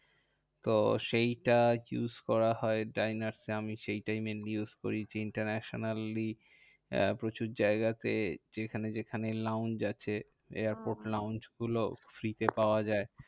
তো সেইটা আরকি use করা হয় ডাইনার্সে আমি সেই টাই mainly use করি। Internationally প্রচুর জায়গাতে যেখানে যেখানে launch আছে airport launch গুলো free তে পাওয়া যায়।